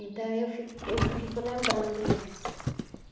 Então eu fico eu fico lembrando isso.